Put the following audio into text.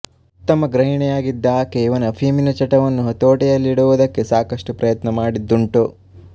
ಉತ್ತಮ ಗೃಹಿಣಿಯಾಗಿದ್ದ ಆಕೆ ಇವನ ಅಫೀಮಿನ ಚಟವನ್ನು ಹತೋಟಿಯಲ್ಲಿಡುವುದಕ್ಕೆ ಸಾಕಷ್ಟು ಪ್ರಯತ್ನ ಮಾಡಿದ್ದುಂಟು